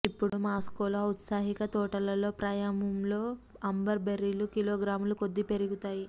ఇప్పుడు మాస్కోలో ఔత్సాహిక తోటలలో ప్రాయములో అంబర్ బెర్రీలు కిలోగ్రాముల కొద్దీ పెరుగుతాయి